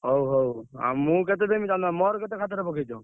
ହଉ ହଉ।